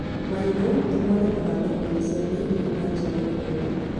Marigũ nĩmonekanaga thoko-inĩ cia thĩiniĩ na nja wa bũrũri